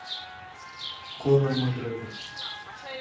конор макгрегор